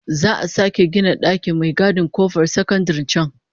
Za'a sake gina dakin mai gadin kofar sakandaren can